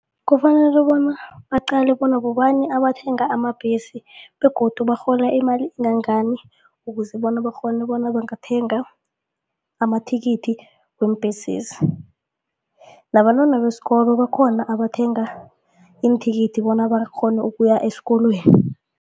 Kufanele bona baqale bona bobani abathenga amabhesi begodu barhola imali engangani ukuze bona bakghone bona bangathenga amathikithi weembesezi. Nabantwana besikolo bakhona abathenga iinthikithi bona bakghone ukuya esikolweni.